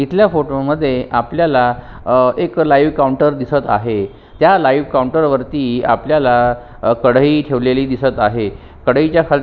इथल्या फोटो मध्ये आपल्याला अ एक लाईव्ह काऊंटर दिसत आहे त्या लाईव्ह काऊंटर वरती आपल्याला अ कढई ठेवलेली आहे कढईच्या खाल--